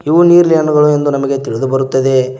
ಇವು ನೀರಿಳೆ ಹಣ್ಣಗಳು ಎಂದು ನಮಗೆ ತಿಳಿದು ಬರುತ್ತದೆ.